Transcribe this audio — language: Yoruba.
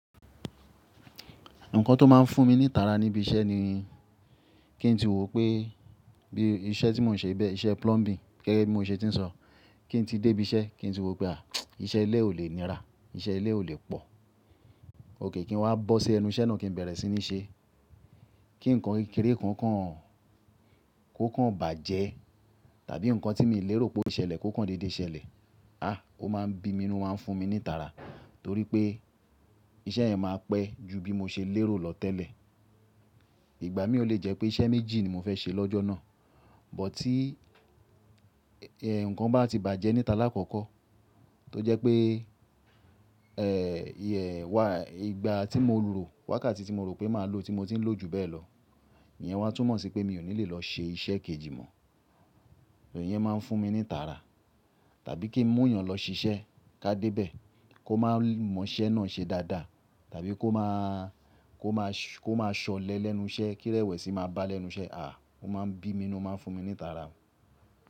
Nǹkan tó máa ń fún mi ní ìtara níbí iṣẹ́ ni kí n tí wò pé bí iṣẹ́ tí mò ń ṣe bẹ́ẹ̀, iṣẹ́ plumbing gẹ́gẹ́ bí mo ṣe ti ń sọ, kí n tí dé ibi iṣẹ́ kí n tí wò pé à íṣẹ́ ilé ò lè nira, iṣẹ́ ilé ò lè pọ̀. Ókè kí n wá bọ́ sí ẹnu iṣẹ́ náà kí n bẹ̀rẹ̀ sí ní ṣe kí ǹkan kékeré kan kàn kò kàn bàjẹ́ tàbí nǹkan tí miì lérò pé ó lè ṣẹlẹ̀ kò kàn dédé ṣẹlẹ̀. À ó máa ń bí mi inú ó máa ń fún mi ní ìtara torí pé iṣẹ́ yẹn máa pẹ́ ju bí mo ṣe lérò lọ tẹ́lẹ̀. Ìgbà míìn ò le jẹ́ pé iṣẹ́ méjì ni mo fẹ́ ṣe lọ́jọ́ náà, but tí ẹ̀ nǹkan bá ti bàjẹ́ ní ta lákọ̀ọ́kọ́ tó jẹ́ pé ẹ̀h yeah why ìgbà tí mo rò wákàtí tí mo rò pé màá lò tí mo ti ń lò ju bẹ́ẹ̀ lọ, ìyẹn wá túmọ̀ sí pé mi ò ní lè lọ ṣe iṣẹ́ kejì mọ́. Ìyẹn máa ń fún mi ní ìtara. Tàbí kí n mú èèyàn lọ ṣiṣẹ́ ká dé bẹ̀ kó má mọ iṣẹ́ náà ṣe dáadáa tàbí kó má a kó máa kó máa ṣọ̀lẹ lẹ́nu iṣẹ́ kí rẹ̀wẹ̀sì máa bá a lẹ́nu iṣẹ́. À ó máa ń bí mi nínú ó máa ń fún mi ní ìtara.